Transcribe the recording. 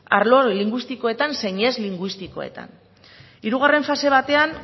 arlo linguistikoetan zein ez linguistikoetan hirugarren fase batean